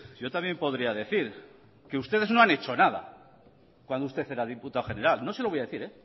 yo también podría decir que ustedes no han hecho nada cuando usted era diputado general no se lo voy a decir